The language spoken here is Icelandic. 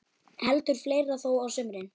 Heldur fleira þó á sumrin.